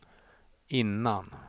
innan